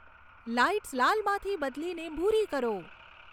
lights લાલમાંથી બદલીને ભૂરી કરો